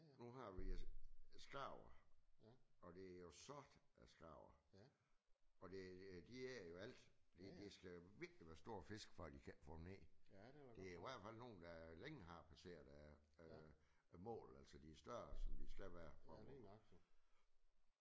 Nu har vi skarver og det er jo sort af skarver og de æder jo alt de de skal virkelig være store fisk for at de ikke kan få dem ned. Det er i hvert fald nogle der er længe har passeret mål altså de er større end de skal være